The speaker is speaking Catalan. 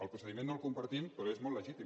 el procediment no el compartim però és molt legítim